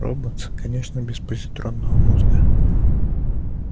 роботс конечно без позитронного мозга